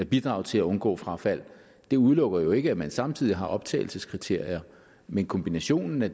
bidrage til at undgå frafald det udelukker jo ikke at man samtidig har nogle optagelseskriterier men kombinationen af